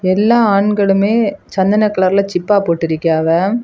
எல்லா ஆண்களுமே சந்தன கலர்ல ஜிப்பா போட்டிருக்காவ.